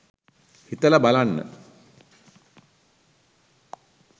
හිතල බලන්න